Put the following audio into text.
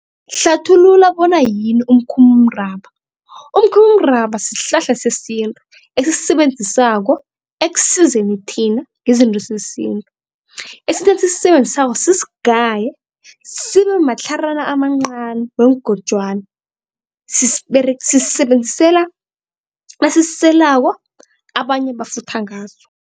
Hlathulula bona yini umkhumulamraba. Umkhumulamraba sihlahla sesintu esisisebenzisako ekusizeni thina ngezinto zesintu. sisigaye sibe matlharana amancani weengojwana sisisebenzisela nasisiselako abanye bafutha ngaso.